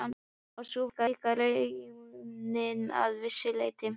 Og sú var líka raunin að vissu leyti.